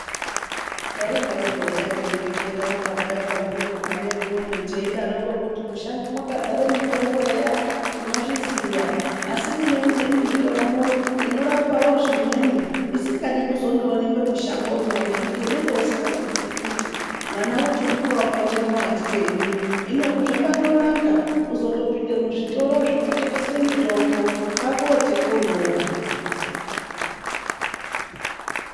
Taidaroko eya teireketa nababa ekwanguyo madeekoni teidaroko kuti mushango mwakadzare mitombo eya, tinozviziya. Asi kune imweni mitombo inorapawo zvimweni isingadi kuzondoonekwe mushangomwo ngekuti unenge usikazozoii kuti mwana wochimupa wakaite muwandirenyi. Hino zvakandonaka kuzondopinde muzvitoro zvinotengeswe mitombo, kwaakuotenge umwomwo.